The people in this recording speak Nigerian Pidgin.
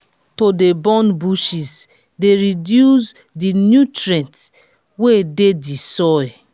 to de burn bushes de reduce di nutrients wey de di soil